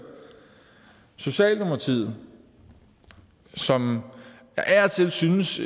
socialdemokratiet som jeg synes